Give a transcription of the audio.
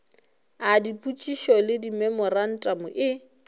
a dipotšišo le dimemorantamo e